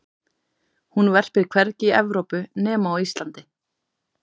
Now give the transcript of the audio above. hún verpir hvergi í evrópu nema á íslandi